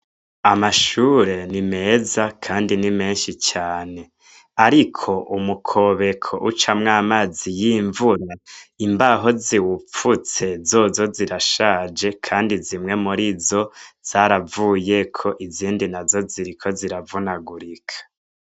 Amashure ni meza kandi ni menshi cane. Ariko umukobeko ucamwo amazi y'imvura, imbaho ziwupfutse zozo zirashaje, kandi zimwe murizo zaravuyeko izindi nazo ziriko ziravunagurika.